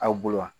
Aw bolo wa